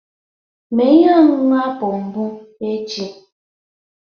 Mee ihe ọṅụṅụ apụl mbụ echi